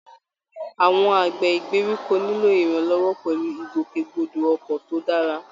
Àwọn àgbẹ̀ ìgbèríko nílò ìrànlọ́wọ́ pẹ̀lú ìgbòkègbodò ọkọ̀ tó dára